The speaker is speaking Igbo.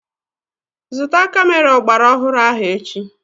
Zụta kamera ọgbaraọhụrụ ahụ echi!